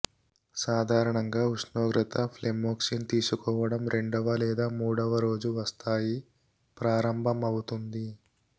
సాధారణంగా ఉష్ణోగ్రత ఫ్లెమోక్సిన్ తీసుకోవడం రెండవ లేదా మూడవ రోజు వస్తాయి ప్రారంభమవుతుంది